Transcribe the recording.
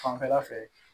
Fanfɛla fɛ